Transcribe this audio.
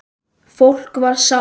Fólk var sátt.